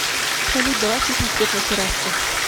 салют давай включим свет на террасе